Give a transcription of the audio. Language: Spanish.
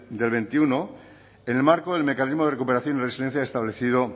de dos mil veintiuno en el marco del mecanismo de recuperación y resiliencia establecido